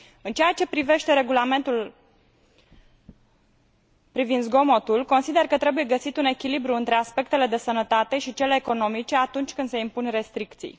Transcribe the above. În ceea ce privește regulamentul privind zgomotul, consider că trebuie găsit un echilibru între aspectele de sănătate și cele economice atunci când se impun restricții.